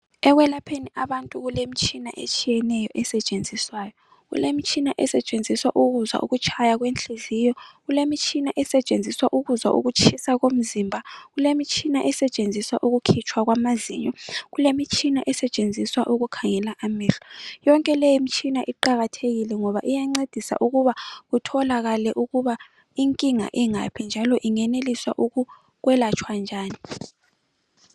ekwelapheni abantu kulemitshina etshiyeneyo esetshenziswayo kulemitshina esetshenziswa ukuzwa ukutshaya kwenhliziyo kulemitshina esetshenziswa ukuzwa ukutshisa kwemizimba kulemitshina esetshenziswa ukukhipha amazinyo kulemitshina esetshenziswa ukukhangela amehlo yonke le mitshina iqakathekile ngoba iyancedisa ukuba utholakale ukuba inkinga ingaphi njalo ingeneliswa ukwelatshwa njani